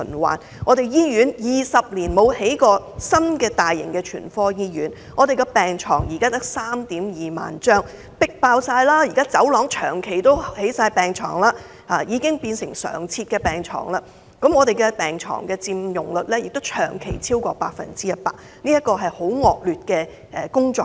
香港20年來未有興建過一所大型全科醫院，現時只有 32,000 張病床，但病人迫爆醫院，病房通道長期加床，已經變成常設的病床，病床佔用率更長期超過 100%， 工作環境十分惡劣。